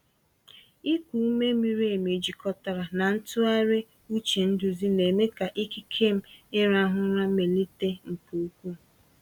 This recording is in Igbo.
Ịkụ ume miri emi jikọtara na ntụgharị uche nduzi na-eme ka ikike m ịrahụ ụra melite nke ukwuu.